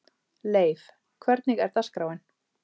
Leif, hvernig er dagskráin?